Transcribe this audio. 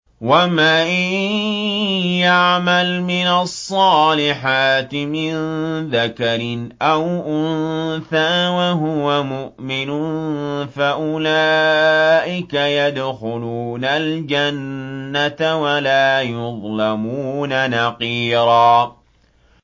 وَمَن يَعْمَلْ مِنَ الصَّالِحَاتِ مِن ذَكَرٍ أَوْ أُنثَىٰ وَهُوَ مُؤْمِنٌ فَأُولَٰئِكَ يَدْخُلُونَ الْجَنَّةَ وَلَا يُظْلَمُونَ نَقِيرًا